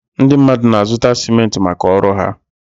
Ndị mmadụ na-azụta simentị maka ọrụ ha.